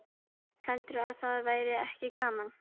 Heldurðu að það væri ekki gaman?